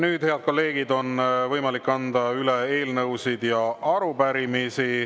Nüüd, head kolleegid, on võimalik anda üle eelnõusid ja arupärimisi.